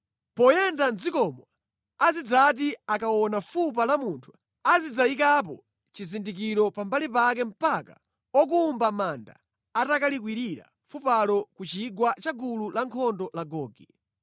Poyenda mʼdzikomo azidzati akaona fupa la munthu azidzayikapo chizindikiro pambali pake mpaka okumba manda atakalikwirira fupalo ku chigwa cha gulu lankhondo la Gogi.